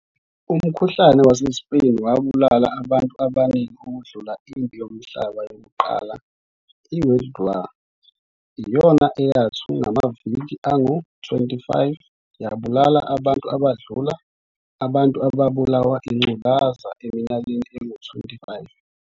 Umkhuhlane wase-Spain wabulala abantu abaningi ukudlula impi yomhlaba yokuqala i-World War I yona eyathu ngamaviki angu-25 yabulala abantu abadlula abantu abalulawa ingculazi eminyakeni engu-25.